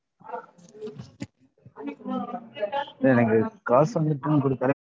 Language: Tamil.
இல்ல எனக்கு காசு வந்து return